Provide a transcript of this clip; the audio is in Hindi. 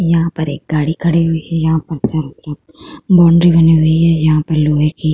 यहाँ पर एक गाड़ी खड़ी हुई है। यहाँ पर चारों तरफ बाउंड्री बनी हुई है। यहाँ पर लोहे की --